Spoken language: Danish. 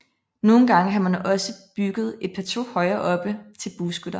Nogle gange har man også bygget et plateau højere oppe til bueskytter